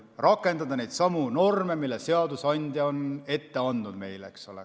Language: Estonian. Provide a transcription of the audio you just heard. Rakendada neid norme, mille seadusandja on ette andnud.